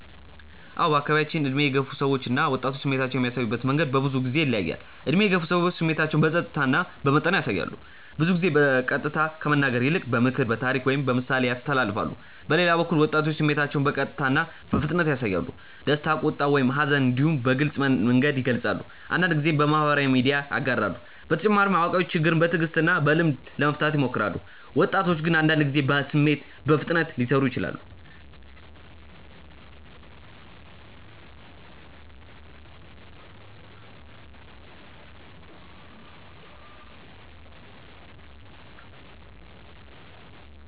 አዎ በአካባቢያችን ዕድሜ የገፉ ሰዎች እና ወጣቶች ስሜታቸውን የሚያሳዩበት መንገድ በብዙ ጊዜ ይለያያል። ዕድሜ የገፉ ሰዎች ስሜታቸውን በጸጥታ እና በመጠን ያሳያሉ። ብዙ ጊዜ በቀጥታ ከመናገር ይልቅ በምክር፣ በታሪክ ወይም በምሳሌ ያስተላልፋሉ። በሌላ በኩል ወጣቶች ስሜታቸውን በቀጥታ እና በፍጥነት ያሳያሉ። ደስታ፣ ቁጣ ወይም ሐዘን እንዲሁ በግልጽ መንገድ ይገልጻሉ፤ አንዳንድ ጊዜም በማህበራዊ ሚዲያ ያጋራሉ። በተጨማሪ አዋቂዎች ችግርን በትዕግስት እና በልምድ ለመፍታት ይሞክራሉ፣ ወጣቶች ግን አንዳንድ ጊዜ በስሜት በፍጥነት ሊሰሩ ይችላሉ።